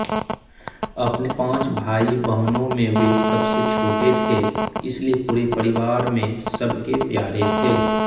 अपने पाँच भाईबहनों में वे सबसे छोटे थे इसलिए पूरे परिवार में सबके प्यारे थे